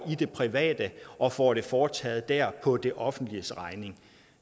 i det private og får det foretaget der på det offentliges regning